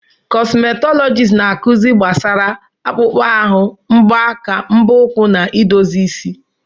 Kọsmetọlọjisti na-akụzi gbasara akpụkpọ ahụ, mbọ aka, mbọ ụkwụ na idozi isi.